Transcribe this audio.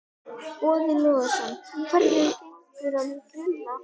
Boði Logason: Hvernig gengur að grilla?